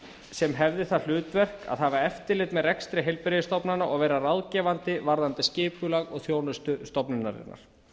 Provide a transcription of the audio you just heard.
sem hefði það hlutverk að hafa eftirlit með rekstri heilbrigðisstofnana og vera ráðgefandi varðandi skipulag og þjónustu stofnunarinnar